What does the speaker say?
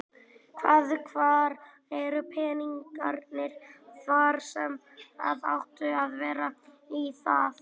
Hvað, hvar eru peningarnir þar sem að áttu að vera í það?